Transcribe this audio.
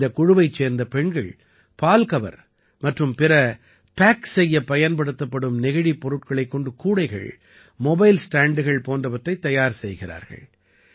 இந்தக் குழுவைச் சேர்ந்த பெண்கள் பால்கவர் மற்றும் பிற பேக் செய்யப் பயன்படுத்தப்படும் நெகிழிப் பொருட்களைக் கொண்டு கூடைகள் மொபைல் ஸ்டாண்டுகள் போன்றவற்றைத் தயார் செய்கிறார்கள்